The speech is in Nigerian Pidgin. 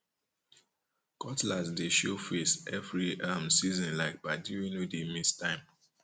cutlass dey show face every um seasonlike padi wey no dey miss time um